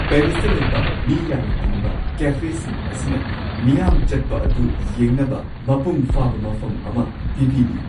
ꯄꯦꯔꯤꯁꯇ ꯂꯩꯕ ꯃꯤ ꯌꯥꯝꯅ ꯇꯤꯟꯕ ꯀꯦꯐꯦꯁꯤꯡ ꯑꯁꯤꯅ ꯃꯤꯌꯥꯝ ꯆꯠꯄ ꯑꯗꯨ ꯌꯦꯡꯅꯕ ꯃꯄꯨꯡ ꯐꯥꯕ ꯃꯐꯝ ꯑꯃ ꯄꯤꯕꯤꯔꯤ ꯫